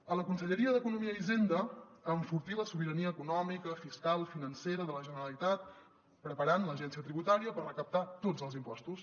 a la conselleria d’economia i hisenda enfortir la sobirania econòmica fiscal financera de la generalitat preparant l’agència tributària per recaptar tots els impostos